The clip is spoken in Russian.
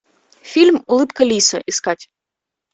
фильм улыбка лиса искать